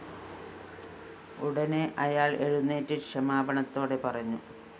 ഉടനെ അയാള്‍ എഴുന്നേറ്റ് ക്ഷമാപണത്തോടെ പറഞ്ഞു